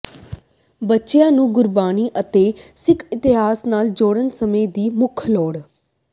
ਬੱਚਿਆਂ ਨੂੰ ਗੁਰਬਾਣੀ ਅਤੇ ਸਿੱਖ ਇਤਿਹਾਸ ਨਾਲ ਜੋੜਣਾ ਸਮੇਂ ਦੀ ਮੁੱਖ ਲੋੜ